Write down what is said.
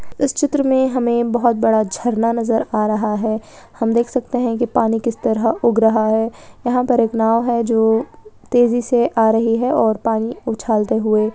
इस चित्र में हमें बहोत बड़ा झरना नज़र आ रहा है हम देख सकते है कि पानी किस तरह उग रहा है यहाँ पर एक नाव है जो तेजी से आ रही है और पानी उझालते हुए--